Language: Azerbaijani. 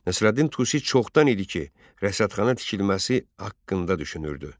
Nəsrəddin Tusi çoxdan idi ki, rəsədxana tikilməsi haqqında düşünürdü.